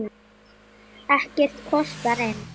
Ekkert kostar inn.